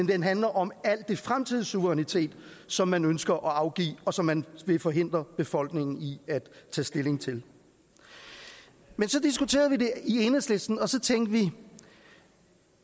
den handler om al den fremtidige suverænitet som man ønsker at afgive og som man vil forhindre befolkningen i at tage stilling til så diskuterede vi det i enhedslisten og så tænkte vi